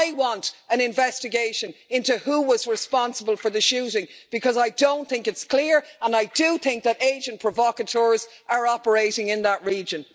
I want an investigation into who was responsible for the shooting, because I don't think it's clear, and I do think that agents provocateurs are operating in that region.